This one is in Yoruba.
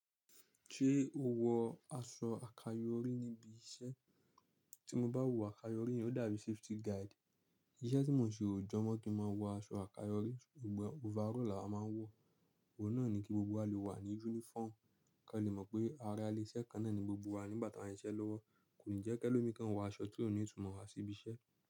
Ṣé o wọ aṣọ àkayò orí níbi iṣẹ́? Tí mo bá wọ àkayò orí, ó dàbí safety guide. Iṣẹ́ tí mò ń ṣe ò jọmọ́ kí n máa wọ aṣọ àkayò orí, overall làwa máa ń wọ. Ohun náà ni kí gbogbo wa lè wà ní uniform, kí a lè mọ̀ pé ara ile iṣẹ kan náà ni gbogbo wa nígbà tí a ń ṣiṣẹ́ lọ́wọ́. Kò ní jẹ́ kí ẹlòmí kan wọ aṣọ ti ó ní ìtumọ̀ wá sí ibi iṣẹ́